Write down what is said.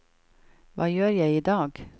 hva gjør jeg idag